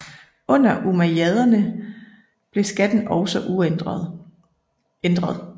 Under umayyaderne blev skatten også ændret